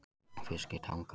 Fiskitanga